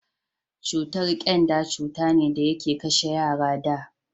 cutar kyanda cuta ne da yake kashe yara da